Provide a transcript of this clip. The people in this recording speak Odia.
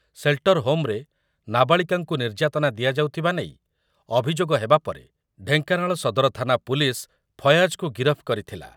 ସେଲ୍ଟରହୋମ୍‌ରେ ନାବାଳିକାଙ୍କୁ ନିର୍ଯାତନା ଦିଆଯାଉଥିବା ନେଇ ଅଭିଯୋଗ ହେବା ପରେ ଢ଼େଙ୍କାନାଳ ସଦର ଥାନା ପୁଲିସ୍ ଫୟାଜକୁ ଗିରଫ କରିଥିଲା ।